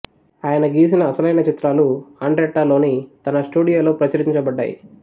ఆయన గీచిన అసలైన చిత్రాలు ఆండ్రెట్టా లోని తన స్టుడియోలో ప్రదర్శించబడ్డాయి